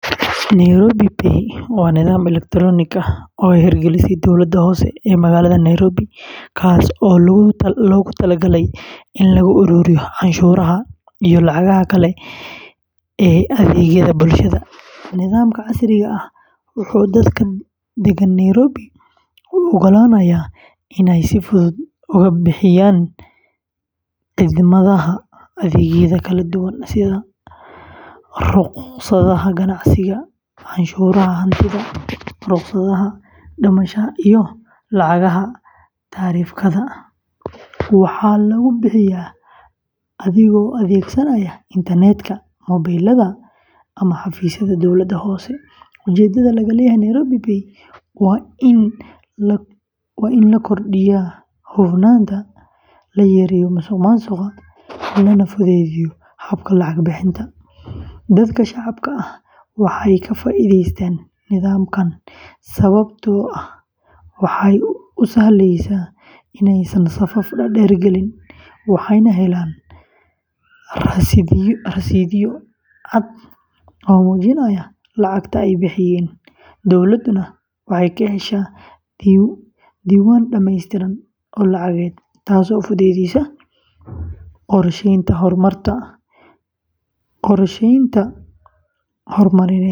Nairobi Pay waa nidaam elektaroonik ah oo ay hirgelisay dowladda hoose ee magaalada Nairobi, kaas oo loogu talagalay in lagu ururiyo canshuuraha iyo lacagaha kale ee adeegyada bulshada. Nidaamkan casriga ah wuxuu dadka deggan Nairobi u oggolaanayaa inay si fudud uga bixiyaan khidmadaha adeegyada kala duwan sida rukhsadaha ganacsiga, canshuuraha hantida, rukhsadaha dhismaha, iyo lacagaha taraafikada. Waxaa lagu bixiyaa adigoo adeegsanaya internetka, mobilada, ama xafiisyada dowladda hoose. Ujeedada laga leeyahay Nairobi Pay waa in la kordhiyo hufnaanta, la yareeyo musuqmaasuqa, lana fududeeyo habka lacag bixinta. Dadka shacabka ah waxay ka faa’iidaystaan nidaamkan sababtoo ah waxay u sahlaysaa inaysan safaf dhaadheer galin, waxayna helaan rasiidhyo cad oo muujinaya lacagta ay bixiyeen. Dowladduna waxay ka heshaa diiwaan dhammaystiran oo lacageed, taasoo fududeysa qorsheynta horumarineed.